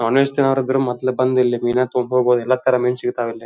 Non veg ತಿನ್ನೋರ್ ಇದ್ರೆ ಮೊದ್ಲ ಬಂದು ಇಲ್ಲಿ ಮೀನಾ ತಗೊಳ್ಬಹುದು ಎಲ್ಲಾ ತರದ ಮೀನ್ ಸಿಗ್ತಾವ್ ಇಲ್ಲಿ.